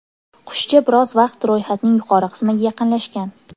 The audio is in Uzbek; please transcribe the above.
Qushcha biroz vaqt ro‘yxatning yuqori qismiga yaqinlashgan.